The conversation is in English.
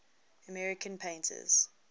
american painters